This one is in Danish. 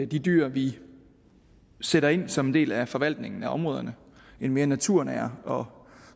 de dyr vi sætter ind som en del af forvaltningen af områderne en mere naturnær og